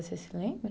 Você se lembra?